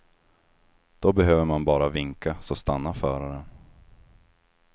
Då behöver man bara vinka, så stannar föraren.